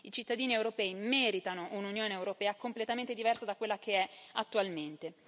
I cittadini europei meritano un'Unione europea completamente diversa da quella che è attualmente.